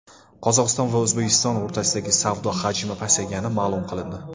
Qozog‘iston va O‘zbekiston o‘rtasidagi savdo hajmi pasaygani ma’lum qilindi.